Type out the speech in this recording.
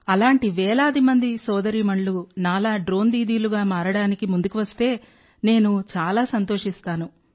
అలాంటి వేలాది మంది సోదరీమణులు నాలా డ్రోన్ దీదీలుగా మారడానికి ముందుకు వస్తే నేను చాలా సంతోషిస్తాను